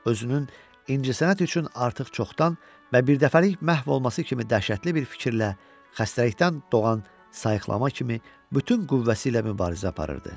Özünün incəsənət üçün artıq çoxdan və birdəfəlik məhv olması kimi dəhşətli bir fikirlə, xəstəlikdən doğan sayıqlama kimi bütün qüvvəsi ilə mübarizə aparırdı.